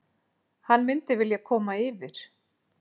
Hann myndi vilja koma yfir.